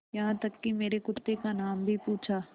यहाँ तक कि मेरे कुत्ते का नाम भी पूछा